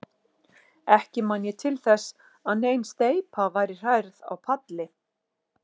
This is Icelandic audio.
Ekki man ég til þess, að nein steypa væri hrærð á palli.